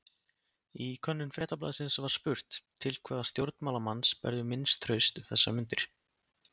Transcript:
Í könnun Fréttablaðsins var spurt: Til hvaða stjórnmálamanns berðu minnst traust um þessar mundir?